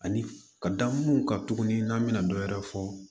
Ani ka da mun kan tuguni n'an bɛna dɔ wɛrɛ fɔ